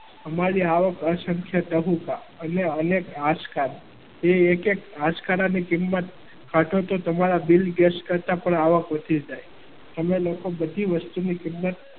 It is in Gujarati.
અમારી આવક અસંખ્ય ચબુકા અહીંયા અનેક આજકા એ એક એક આજકા પાછળ તો તમારા બિલ ગેટ્સ કરતા પણ આવક વધી જાય. અમે લોકો બધી વસ્તુની કિંમત.